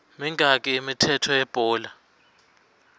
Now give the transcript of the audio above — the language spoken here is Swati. mingaki imithetho yebhola